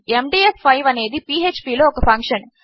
MD five అనేదిphpలోఒకఫంక్షన్